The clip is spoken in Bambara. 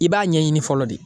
I b'a ɲɛɲini fɔlɔ de.